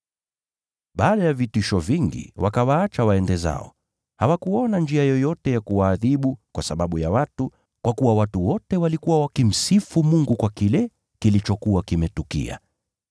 Baada ya vitisho vingi, wakawaacha waende zao. Hawakuona njia yoyote ya kuwaadhibu, kwa sababu ya watu, kwa kuwa watu wote walikuwa wakimsifu Mungu kwa kile kilichokuwa kimetukia.